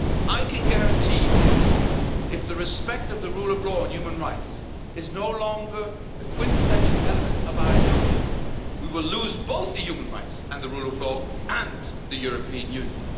I can guarantee you if respect for the rule of law and human rights is no longer a quintessential element of our Union, we will lose human rights, the rule of law and the European Union.